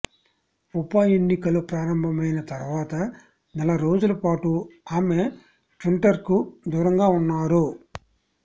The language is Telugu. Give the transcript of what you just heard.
ఉప ఎన్నికలు ప్రారంభమైన తర్వాత నెల రోజుల పాటు ఆమె ట్విట్టర్కు దూరంగా ఉన్నారు